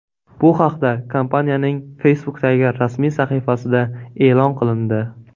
Bu haqda kompaniyaning Facebook’dagi rasmiy sahifasida e’lon qilindi .